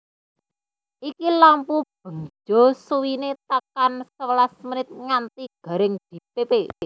Iki lampu bangjo suwine tekan sewelas menit nganti garing dipepe